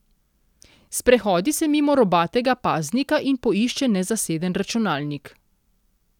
Sprehodi se mimo robatega paznika in poišče nezaseden računalnik.